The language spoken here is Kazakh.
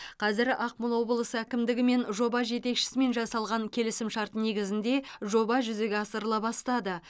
қазір ақмола облысы әкімдігі мен жоба жетекшісімен жасалған келісімшарт негізінде жоба жүзеге асырыла бастады